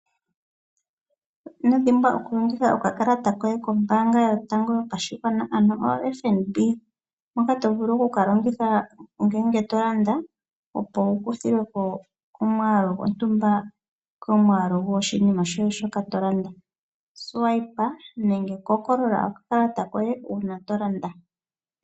Ino dhimbwa okulongitha okakalata koye kombaanga yotango yopashigwana ano yoFNB moka to vulu ngele to landa, opo wu kuthilwe ko omwaalu gontumba komwaalu goshinima shoka to landa. Longitha okakalata koye uuna to landa.